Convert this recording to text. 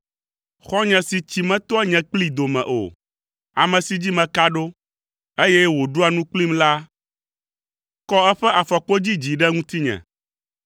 Xɔ̃nye si tsi metoa nye kplii dome o, ame si dzi meka ɖo, eye wòɖua nu kplim la kɔ eƒe afɔkpodzi dzi ɖe ŋutinye.